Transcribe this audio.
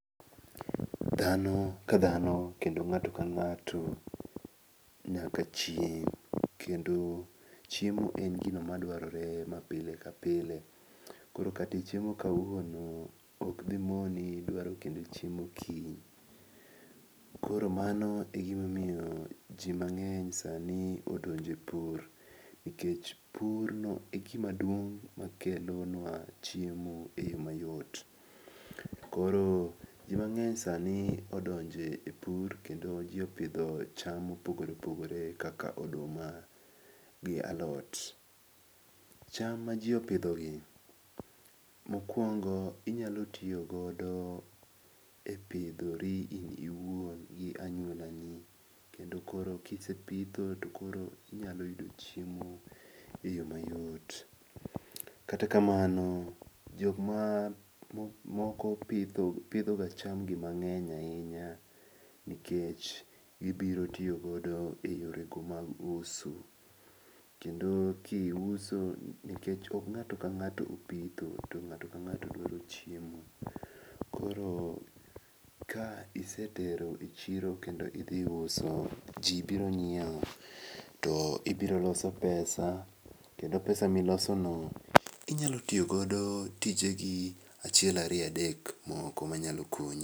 Dhano ka dhano kendo ng'ato kang'ato nyaka chiem, kendo chiemo en gino madwarore mapile kapile koro kata ichiemo kawuono okdimoni dwaro kendo chiemo kiny. Koro mano egimomiyo jii mang'eny sani odonje e pur nikech purno egimaduong' makelonwa chiemo e yo mayot. Koro jii mang'eny sani odonje e pur kendo jii opidho cham mopogore opogore kaka oduma gi alot. Cham ma jii opidhoni mokuongo inyalo tiyogodo e pidhori in iwuon gi anyuolani kendo koro kisepidho to koro inyalo yudo chiemo e yo mayot. Kata kamano jokmoko pidhoga chamgi mang'eny ahinya nikech gibiro tiyogodo e yorego mag uso, kendo kisuo nikech ok ng'ato kang'ato opidho to nga'to kang'ato dwaro chiemo koro ka isetero e chiro kendo idhi uso jii biro nyieo to ibiro loso pesa kendo pesa milosono inyalo tiyodo godo tijegi achiel ariyo adek moko manyalo konyi.